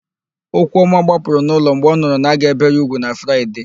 Okwuọma gbapụrụ n'ụlọ mgbe ọ nụrụ na a ga-ébè ya úgwù na Fraịde.